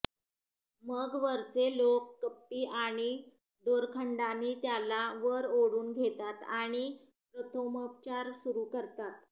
मग वरचे लोक कप्पी आणि दोरखंडानी त्याला वर ओढून घेतात आणि प्रथमोपचार सुरू करतात